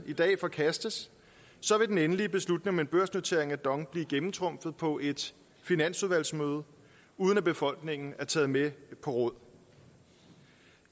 i dag forkastes så vil den endelige beslutning om en børsnotering af dong blive gennemtrumfet på et finansudvalgsmøde uden at befolkningen er blevet taget med på råd